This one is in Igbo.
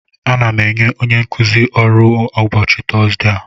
Ana m enye onye nkuzi ọrụ a ụbọchị Tọzdee a